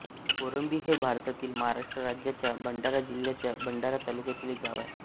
कोरंभी हे भारतातील महाराष्ट्र राज्याच्या भंडारा जिल्ह्याच्या भंडारा तालुक्यातील एक गाव आहे